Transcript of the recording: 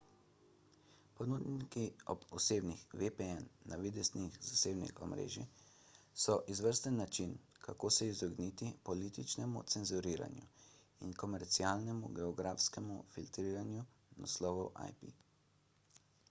ponudniki osebnih vpn navideznih zasebnih omrežij so izvrsten način kako se izogniti političnemu cenzuriranju in komercialnemu geografskemu filtriranju naslovov ip